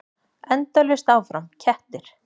Endalaust áfram: kettir.